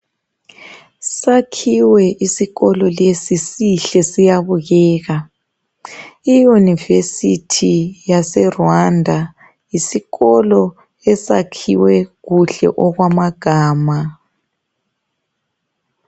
Sakhiwe isikolo lesi sihle siyabukeka iuniversity yase Rwanda yisikolo esakhiwe kuhle okwamagama.